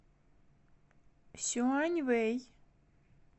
сюаньвэй